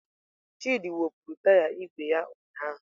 Chidị wụpụrụ taya igwe ya ụnyahụ.